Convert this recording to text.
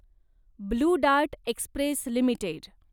blue Dart Express limited